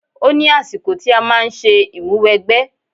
Ó ní àsìkò tí a máa ń ṣe ìmúwẹgbẹ́.